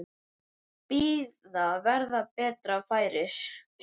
Bíða verði betra færis.